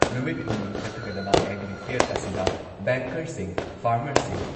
ꯅꯨꯃꯤꯠ ꯍꯨꯝꯅꯤ ꯆꯠꯊꯒꯗꯕ ꯑꯦꯒ꯭ꯔꯤ ꯐꯤꯌꯔ ꯑꯁꯤꯗ ꯕꯦꯡꯀꯔꯁꯤꯡ, ꯐꯥꯔꯃꯔꯁꯤꯡ,